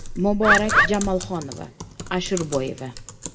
Muborak Jamolxonova (Ashurboyeva).